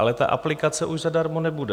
Ale ta aplikace už zadarmo nebude.